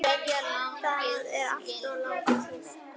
Það er alltof langur tími.